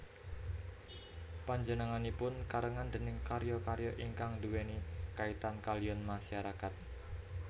Panjenenganipun karenan déning karya karya ingkang nduweni kaitan kaliyan masyarakat